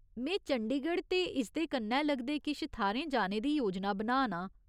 में चंडीगढ़ ते इसदे कन्नै लगदे किश थाह्‌रें जाने दी योजना बनाऽ नां।